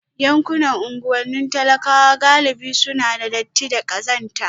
Yankunan unguwannin talakawa galibi suna da datti da ƙazanta